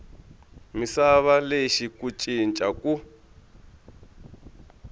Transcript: misava lexi ku cinca ku